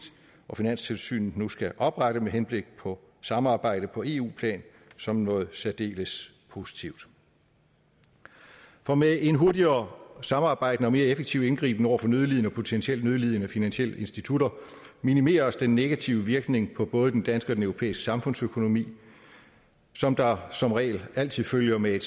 og finanstilsynet nu skal oprette med henblik på samarbejde på eu plan som noget særdeles positivt for med en hurtigere og samarbejdende og mere effektiv indgriben over for nødlidende og potentielt nødlidende finansielle institutter minimeres den negative virkning på både den danske og den europæiske samfundsøkonomi som der som regel altid følger med